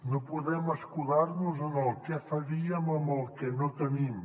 no podem escudar nos en el què faríem amb el que no tenim